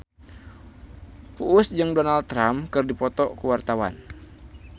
Uus jeung Donald Trump keur dipoto ku wartawan